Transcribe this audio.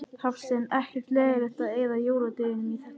Hafsteinn: Ekkert leiðilegt að eyða jóladeginum í þetta?